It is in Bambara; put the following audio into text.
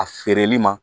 A feereli ma